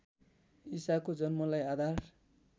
ईसाको जन्मलाई आधार